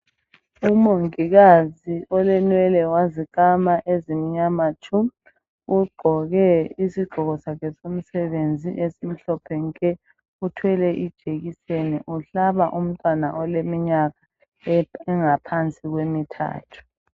Umongikazi olenwele wazikama ezimnyama tshu. Ugqoke isigqoko sakhe somsebenzi esimhlophe nke. Uthwele ijekiseni, uhlaba umntwana oleminyaka engaphansi kwemithathu.